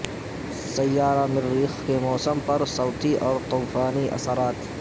سیارہ مریخ کے موسم پر صوتی اور طوفانی اثرات